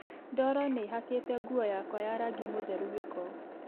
Ndoro nĩ ĩhakĩte nguo yakwa ya rangi mũtheru gĩko